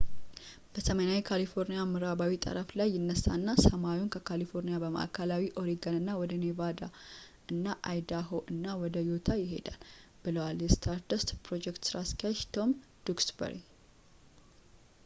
በሰሜናዊ ካሊፎርኒያ ምዕራባዊ ጠረፍ ላይ ይነሳና ሰማዩን ከካሊፎርኒያ በማዕከላዊ ኦሪገን እና ወደ ኔቫዳ እና አይዳሆ እና ወደ ዩታ ይሄዳል” ብለዋል የስታርደስት የፕሮጀክት ሥራ አስኪያጅ ፤ ቶም ዱክስበሪ